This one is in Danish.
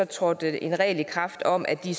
trådte der en regel i kraft om at det